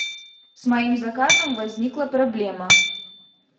с моим заказом возникла проблема